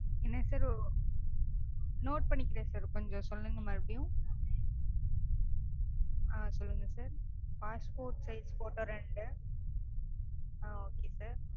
என்ன sir note பண்ணிக்கிறேன் sir. கொஞ்சம் சொல்லுங்க மறுபடியும். ஆஹ் சொல்லுங்க sir passport size ரெண்டு ஆஹ் okay sir